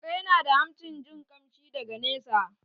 Kare na da hancin jin kamshi daga nesa